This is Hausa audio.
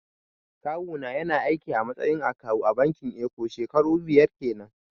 Kawu na ya na aiki a matsayin akawu a bankin eko shekaru biyar kenan